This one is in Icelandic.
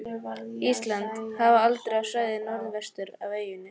Íslandi, hafa haldið á svæðið norðvestur af eyjunni.